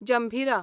जंभिरा